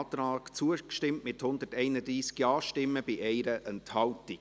Sie haben diesem Antrag zugestimmt, mit 131 Ja- gegen 0 Nein-Stimmen bei 1 Enthaltung.